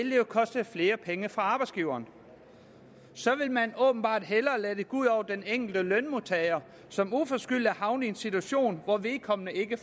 koste flere penge for arbejdsgiveren så vil man åbenbart hellere lade det gå ud over den enkelte lønmodtager som uforskyldt er havnet i en situation hvor vedkommende ikke